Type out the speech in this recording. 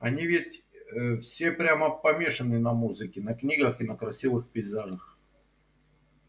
они ведь э все прямо помешаны на музыке на книгах и на красивых пейзажах